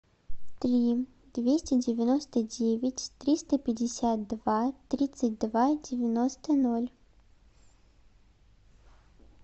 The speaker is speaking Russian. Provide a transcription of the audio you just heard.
три двести девяносто девять триста пятьдесят два тридцать два девяносто ноль